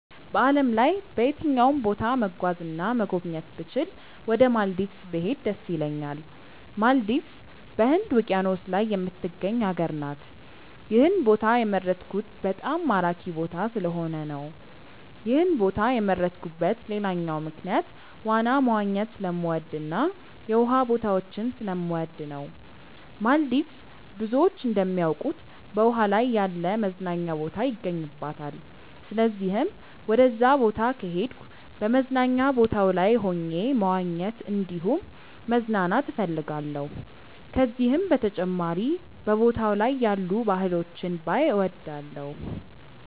በዓለም ላይ በየትኛውም ቦታ መጓዝ እና መጎብኘት ብችል ወደ ማልዲቭስ ብሄድ ደስ ይለኛል። ማልዲቭስ በህንድ ውቂያኖስ ላይ የምትገኝ ሀገር ናት። ይህን ቦታ የመረጥኩት በጣም ማራኪ ቦታ ስለሆነ ነው። ይህን ቦታ የመረጥኩበት ሌላኛው ምክንያት ዋና መዋኘት ስለምወድ እና የውሃ ቦታዎችን ስለምወድ ነው። ማልዲቭስ ብዙዎች እንደሚያውቁት በውሃ ላይ ያለ መዝናኛ ቦታ ይገኝባታል። ስለዚህም ወደዛ ቦታ ከሄድኩ በመዝናኛ ቦታው ላይ ሆኜ መዋኘት እንዲሁም መዝናናት እፈልጋለሁ። ከዚህም በተጨማሪ በቦታው ላይ ያሉ ባህሎችን ባይ እወዳለሁ።